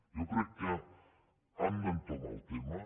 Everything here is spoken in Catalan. jo crec que hem d’entomar el tema